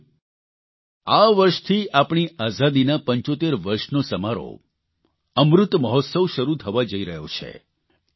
સાથીઓ આ વર્ષથી આપણી આઝાદીના 75 વર્ષનો સમારોહ અમૃત મહોત્સવ શરૂ થવા જઇ રહ્યો છે